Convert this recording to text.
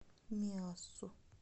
миассу